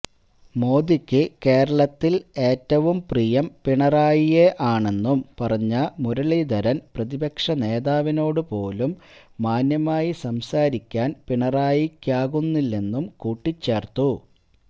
മോദിക്ക് കേരളത്തില് ഏറ്റവും പ്രിയം പിണറായിയെ ആണെന്നും പറഞ്ഞ മുരളീധരന് പ്രതിപക്ഷ നേതാവിനോട് പോലും മാന്യമായി സംസാരിക്കാന് പിണറായിക്കാകുന്നില്ലെന്നും കൂട്ടിച്ചേര്ത്തു